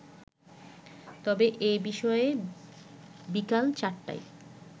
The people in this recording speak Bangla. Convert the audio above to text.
তবে এ বিষয়ে বিকেল চারটায়